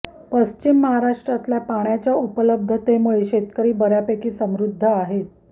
पश्चिम महाराष्ट्रातल्या पाण्याच्या उपलब्धतेमुळे शेतकरी बऱ्यापैकी समृध्द आहेत